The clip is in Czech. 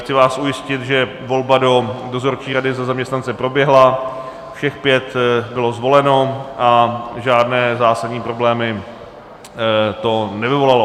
Chci vás ujistit, že volba do dozorčí rady za zaměstnance proběhla, všech pět bylo zvoleno a žádné zásadní problémy to nevyvolalo.